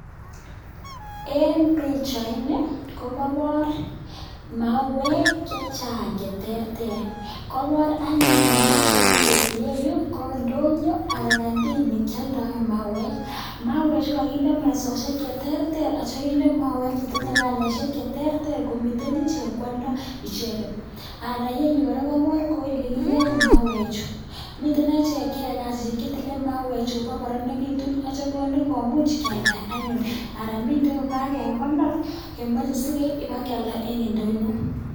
En bichait niton kokabar mauwek chechang cheterter kabar anyun en bichait kele iyeyu ko ndonyo anan kandin nekyaldae mauwek mauwek Chu kokakinde mesisiek cheterter akinde mauwek chetinye kalait cheterter komiten ichek kwaldo icheket iyeyu koraa kokabar yekiyaen mauwek Chu miten ichek cheyae kasishek chetile mauwek komengekitun akitya konde komuch kwalda anyun anan miten kokakekonor kemache keib keyalda en ndonyo